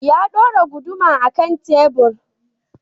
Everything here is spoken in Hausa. Ya ɗora guduma a kan tebur.